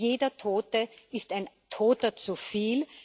Jeder Tote ist ein Toter zu viel.